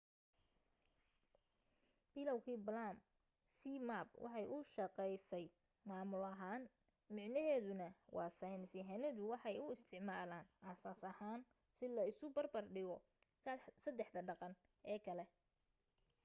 bilowgi palm zmapp waxay u shaqeysay maamul ahaan micnaheeduna waa saynis yahanadu waxay u isticmaalaan aas asas ahaan si la isu bar bar dhigo sadexda dhaqan ee kale